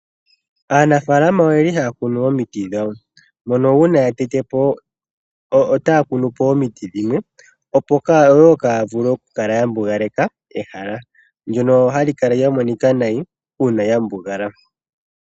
Aanafalama ohaya kunu omiti dhawo. Uuna ya tete po omiti, yo oha ya kunu po omiti dhimwe opo kaaya mbugaleke ehala ndjoka hali kala tali monika nayi uuna lya mbugala.